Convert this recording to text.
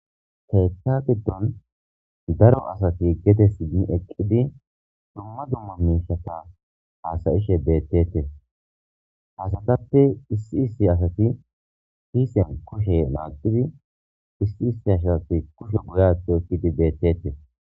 Keeththa gidon daro asati gede simmi eqqidi dumma dumma miishshata haasa'ishe beetetees. Ha asatappe issi issi asati kiisiyan kushe naaqidi issi issi asati kushiya goye aaththi oyqidi beetetees.